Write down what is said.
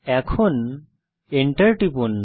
enter টিপুন